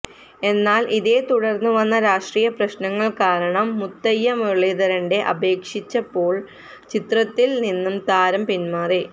എന്നാല് ഇതേ തുടര്ന്ന് വന്ന രാഷ്ട്രീയ പ്രശ്നങ്ങള് കാരണം മുത്തയ്യ മുരളീധരന്റെ അപേക്ഷിച്ചപ്പോള് ചിത്രത്തില് നിന്ന് താരം പിന്മാറി